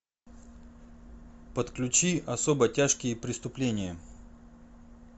подключи особо тяжкие преступления